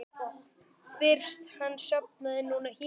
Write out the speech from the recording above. Fyrst hann sofnaði núna hér.